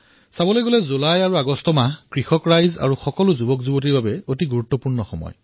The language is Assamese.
সাধাৰণতে জুলাই আৰু আগষ্ট মাহটো সকলো যুৱকযুৱতীসকলৰ বাবে অত্যন্ত গুৰুত্বপূৰ্ণ